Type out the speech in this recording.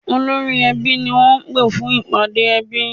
Olórí-ẹbí ni wọ́n pè fún ìpàdé ẹbí